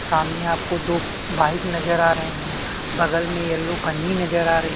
सामने आपको दो बाइक नज़र आ रहै हैं बगल में यलो पन्नी नज़र आ रही--